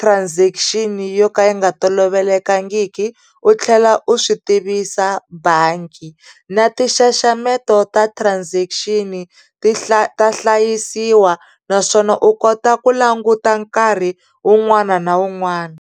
transaction yo ka yi nga tolovelekangiki u tlhela u swi tivisa bangi na ti nxaxameto ta transaction ta hlayisiwa naswona u kota ku languta nkarhi un'wana na un'wana.